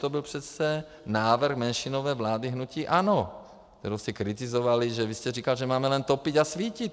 To byl přece návrh menšinové vlády hnutí ANO, kterou jste kritizovali, že vy jste říkal, že máme len topit a svítit.